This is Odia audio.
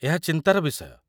ଏହା ଚିନ୍ତାର ବିଷୟ।